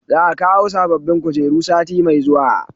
Za a kawo sabobbin kujeru sati mai zuwa